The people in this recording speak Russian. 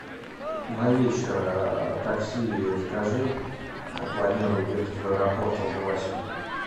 на вечер такси закажи планирую ехать в аэропорт около восьми